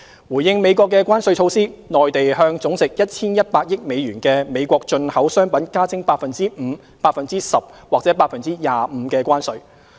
回應美國的關稅措施，內地向總值 1,100 億美元的美國進口商品加徵 5%、10% 或 25% 的關稅。